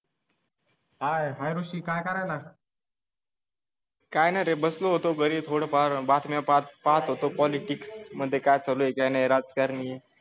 हाय रुची काय करायला. काय नाही बसलो होतो घरी थोडं फार बातम्या पाच पाहत होतो. पॉलिटिक्स मध्ये काय चालू आहे काही राजकारणी?